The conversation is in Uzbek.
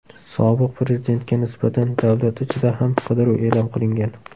Sobiq prezidentga nisbatan davlat ichida ham qidiruv e’lon qilingan .